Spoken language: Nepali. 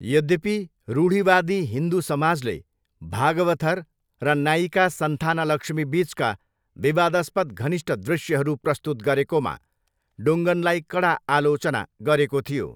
यद्यपि, रूढिवादी हिन्दु समाजले भागवथर र नायिका सन्थानलक्ष्मी बिचका विवादास्पद घनिष्ट दृश्यहरू प्रस्तुत गरेकामा डुङ्गनलाई कडा आलोचना गरेको थियो।